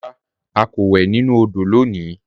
Rárá, à kò wè nínu òdò lónì